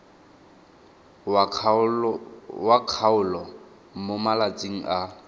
wa kgaolo mo malatsing a